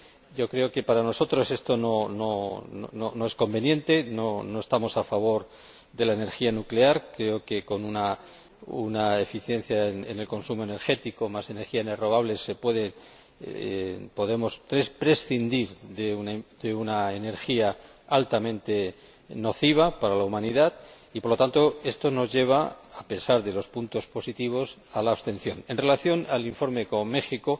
Yo creo que para nosotros esto no es conveniente, no estamos a favor de la energía nuclear. Creo que con una eficiencia en el consumo energético, más energías renovables, podemos prescindir de una energía altamente nociva para la humanidad y, por lo tanto, esto nos lleva, a pesar de los puntos positivos, a la abstención. En relación con el informe sobre México,